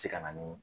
Se ka na ni